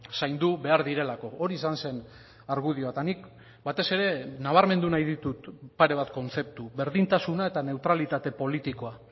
zaindu behar direlako hori izan zen argudioa eta nik batez ere nabarmendu nahi ditut pare bat kontzeptu berdintasuna eta neutralitate politikoa